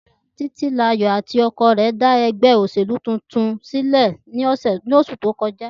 Títílayọ̀ àti ọkọ rẹ̀ dá ẹgbẹ́ òṣèlú tuntun sílẹ̀ lóṣù tó kọjá.